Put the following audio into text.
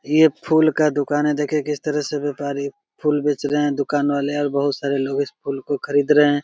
ये फुल का दुकान है देखिए किस तरह से वेपारी फूल बेच रहे है दुकान वाले और बहुत सारे लोग इस फूल को खरीद रहे है।